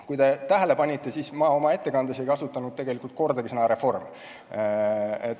Kui te tähele panite, siis ma oma ettekandes ei kasutanud tegelikult kordagi sõna "reform".